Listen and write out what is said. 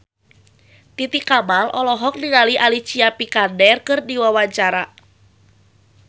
Titi Kamal olohok ningali Alicia Vikander keur diwawancara